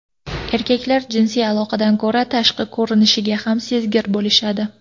Erkaklar jinsiy aloqadan ko‘ra tashqi ko‘rinishiga kam sezgir bo‘lishadi.